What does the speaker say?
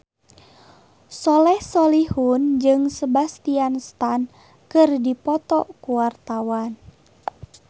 Soleh Solihun jeung Sebastian Stan keur dipoto ku wartawan